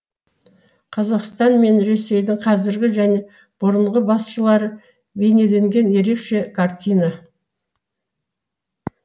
қазақстан мен ресейдің қазіргі және бұрынғы басшылары бейнеленген ерекше картина